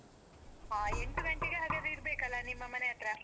ಹಾ ಎಂಟು ಗಂಟೆಗೆ ಹಾಗಾದ್ರೆ ಇರ್ಬೇಕಲ್ಲಾ ನಿಮ್ಮ ಮನೆ ಹತ್ರಾ?